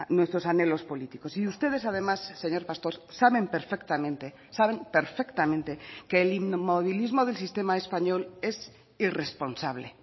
nuestros anhelos políticos y ustedes además señor pastor saben perfectamente saben perfectamente que el inmovilismo del sistema español es irresponsable